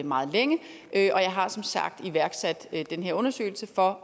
meget længe og jeg har som sagt iværksat den her undersøgelse for